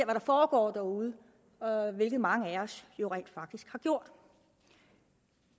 der foregår derude hvilket mange af os jo rent faktisk har gjort